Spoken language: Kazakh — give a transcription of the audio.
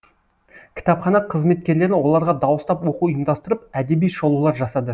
кітапхана қызметкерлері оларға дауыстап оқу ұйымдастырып әдеби шолулар жасады